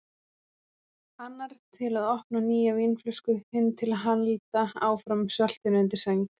Annar til að opna nýja vínflösku, hinn til að halda áfram sveltinu undir sæng.